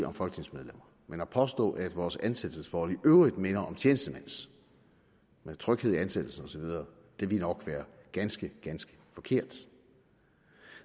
om folketingsmedlemmer men at påstå at vores ansættelsesforhold i øvrigt minder om tjenestemænds med tryghed i ansættelsen og så videre ville nok være ganske ganske forkert